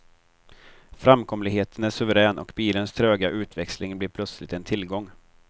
Framkomligheten är suverän och bilens tröga utväxling blir plötsligt en tillgång.